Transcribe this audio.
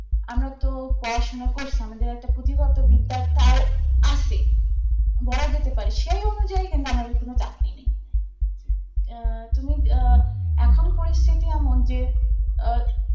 আমরা তো পড়াশোনা করসি আমাদের একটা প্রতিভা তো বিদ্যাটাও আছে বলা যেতে পারে সেই অনুযায়ী কিংবা আমাদের কোন চাকরি নেই আহ তুমি আহ এখন পরিস্থিতি এমন যে আ